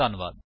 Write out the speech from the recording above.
ਧੰਨਵਾਦ।